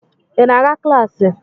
Ị na-aga klaasị?